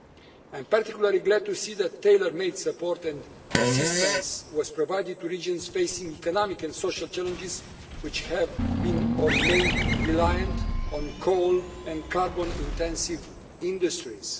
I am particularly glad to see that tailor-made support and assistance was provided to regions facing economic and social challenges, which have been, or remain, reliant on coal and carbon intensive industries.